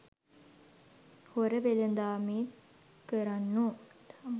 හොර වෙළෙඳාම් කරන්නෝ